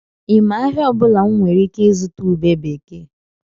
I ma ahịa ọbụla m nwere ike ịzụta ube bekee?